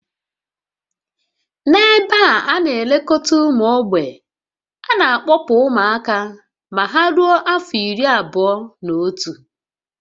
N'ebe a ana-elekọta ụmụ mgbei, a na-akpọpụ ụmụaka ma ha rue afọ iri abụọ-na-otu